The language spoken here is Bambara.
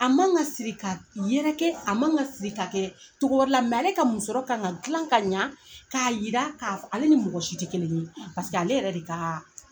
A ma ŋa siri k'a d yɛrɛkɛ a ma ŋa siri k'a kɛɛ cogo wɛrɛ la ale ka musɔrɔ ka ŋa dilan k'a ɲa k'a yira ka f ale ni mɔgɔ si te kelen ye paseke ale yɛrɛ de kaa